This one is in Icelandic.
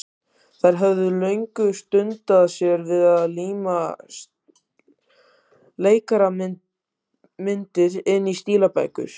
Þær höfðu lengi dundað sér við að líma leikara- myndir inn í stílabækur.